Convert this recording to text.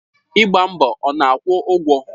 Ịgba mbọ ọ na-akwụ ụgwọ?